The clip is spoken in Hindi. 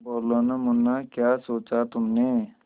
बोलो न मुन्ना क्या सोचा तुमने